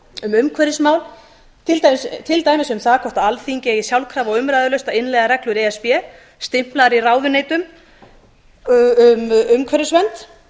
um umhverfismál til dæmis um það hvort alþingi eigi sjálfkrafa og umræðulaust að innleiða reglur e s b stimplaðar í ráðuneytum um umhverfisvernd